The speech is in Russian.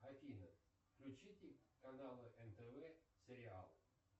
афина включите канал нтв сериал